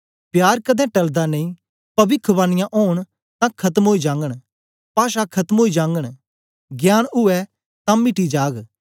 प्यार कदें टलदा नेई पविख्वानीयां ओंन तां खतम ओई जागन पाषां खत्म ओई जागन ज्ञान उवै तां मिटी जाग